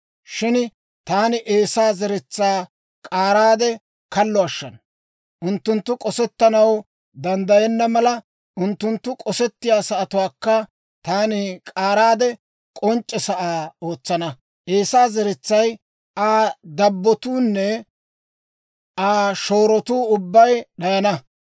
Shin taani Eesaa zeretsaa k'aaraade kallo ashshana; unttunttu k'osettanaw danddayenna mala, unttunttu k'osettiyaa sa'atuwaakka taani k'aaraade, k'onc'c'e sa'aa ootsana. Eesaa zeretsay, Aa dabbotuunne Aa shoorotuu ubbay d'ayana.